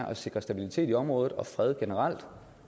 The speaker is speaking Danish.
at sikre stabilitet i området og fred generelt